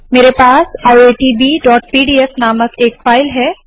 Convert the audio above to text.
मेरे पास iitbपीडीएफ नामक एक फाइल है